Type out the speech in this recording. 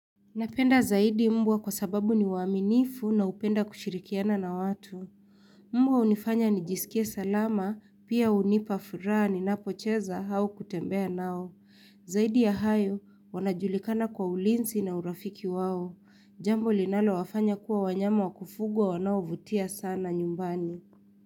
Napenda zaidi mbwa kwa sababu ni maaminifu na hupenda kushirikiana na watu. Mbwa hunifanya nijisikie salama, pia hunipa furaha ninapocheza au kutembea nao. Zaidi ya hayo, wanajulikana kwa ulinzi na urafiki wao. Jambo linalowafanya kuwa wanyama wakufugwa wanaovutia sana nyumbani.